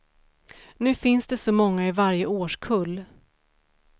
Nu finns det så många i varje årskull.